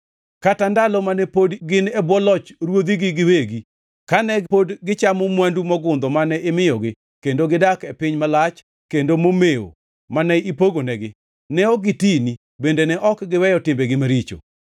Kata ndalo mane pod gin e bwo loch ruodhigi giwegi, kane pod gichamo mwandu mogundho mane imiyogi kendo gidak e piny malach kendo momewo mane ipogonegi, ne ok gitini bende ne ok giweyo timbegi maricho.